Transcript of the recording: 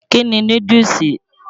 Kí ni núdúùsù?